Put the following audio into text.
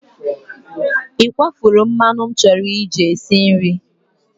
Ị kwafuru mmanụ m chọrọ iji esi nri?